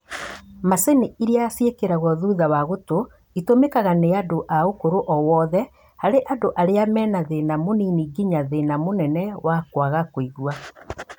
Macini irĩa ciĩkĩrwagwo thutha wa gũtũ itũmĩkaga nĩ andũ a ũkũrũ o wothe harĩ andũ arĩa mena thĩna mũnini nginya thĩna mũnene wa kwaga kũigua